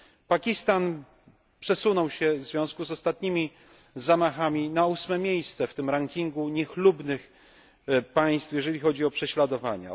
Pakistan przesunął się w związku z ostatnimi zamachami na 8 miejsce w tym rankingu niechlubnych państw, jeżeli chodzi o prześladowania.